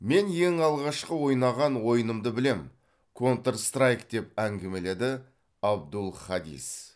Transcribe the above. мен ең алғашқы ойнаған ойынымды білемін контр страйк деп әңгімеледі абдул хадис